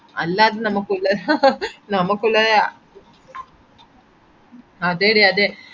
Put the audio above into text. അല്ലാതെ നമക് ഉള്ള ഹ ഹ ഹ നമക് ഉള്ളത് അതേടി അതെ